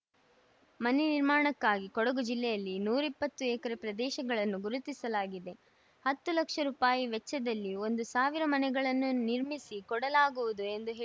ಮನೆ ನಿರ್ಮಾಣಕ್ಕಾಗಿ ಕೊಡಗು ಜಿಲ್ಲೆಯಲ್ಲಿ ನೂರ ಇಪ್ಪತ್ತು ಎಕರೆ ಪ್ರದೇಶಗಳನ್ನು ಗುರುತಿಸಲಾಗಿದೆ ಹತ್ತು ಲಕ್ಷ ರೂಪಾಯಿ ವೆಚ್ಚದಲ್ಲಿ ಒಂದು ಸಾವಿರ ಮನೆಗಳನ್ನು ನಿರ್ಮಿಸಿ ಕೊಡಲಾಗುವುದು ಎಂದು ಹೇಳಿದರು